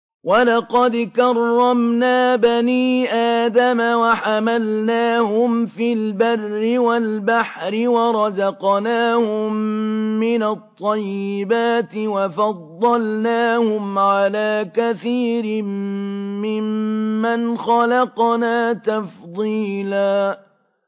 ۞ وَلَقَدْ كَرَّمْنَا بَنِي آدَمَ وَحَمَلْنَاهُمْ فِي الْبَرِّ وَالْبَحْرِ وَرَزَقْنَاهُم مِّنَ الطَّيِّبَاتِ وَفَضَّلْنَاهُمْ عَلَىٰ كَثِيرٍ مِّمَّنْ خَلَقْنَا تَفْضِيلًا